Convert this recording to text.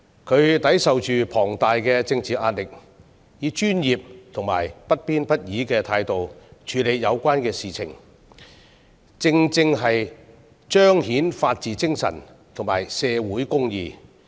她抵受着巨大的政治壓力，以專業和不偏不倚的態度處理有關事情，正正彰顯了法治精神和社會公義。